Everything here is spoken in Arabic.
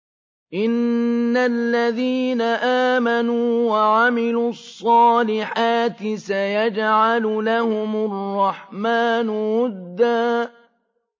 إِنَّ الَّذِينَ آمَنُوا وَعَمِلُوا الصَّالِحَاتِ سَيَجْعَلُ لَهُمُ الرَّحْمَٰنُ وُدًّا